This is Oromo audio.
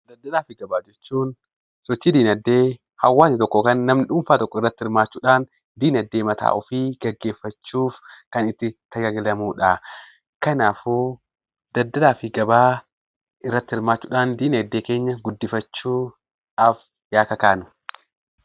Daldalaa fi gabaa jechuun sochii diinagdee hawaasni tokko yookiin namni dhuunfaa tokko irratti hirmaachuudhaan diinagdee mataa ofii geggeeffachuu kan itti tajaajilamuu dha. Kanaafuu, daldalaa fi gabaa irratti hirmaachuudhaan diinagdee keenya guddifachuudhaaf yaa kakaanu!